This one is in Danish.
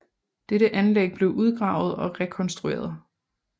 Dette anlæg blev udgravet og rekonstrueret